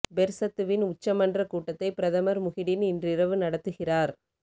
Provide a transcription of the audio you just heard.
பெர்சத்துவின் உச்ச மன்ற கூட்டத்தை பிரதமர் முஹிடின் இன்றிரவு நடத்துகிறார்